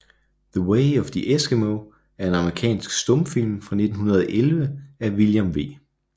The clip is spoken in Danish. The Way of the Eskimo er en amerikansk stumfilm fra 1911 af William V